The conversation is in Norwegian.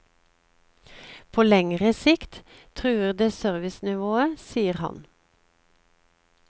På lengre sikt truer det servicenivået, sier han.